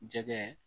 Jɛgɛ